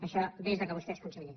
això des que vostè és conseller